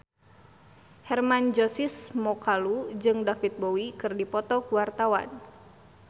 Hermann Josis Mokalu jeung David Bowie keur dipoto ku wartawan